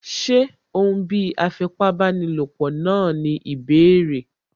Ṣé òún bí afipábanílòpọ̀ náà ní ìbéèrè?